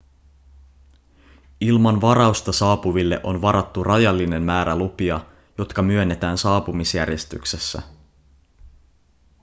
ilman varausta saapuville on varattu rajallinen määrä lupia jotka myönnetään saapumisjärjestyksessä